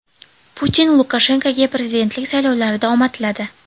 Putin Lukashenkoga prezidentlik saylovlarida omad tiladi.